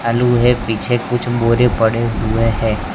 आलू है पीछे कुछ बोरे पड़े हुए हैं।